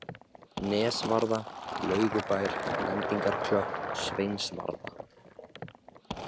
Nesvarða, Laugubær, Lendingarklöpp, Sveinsvarða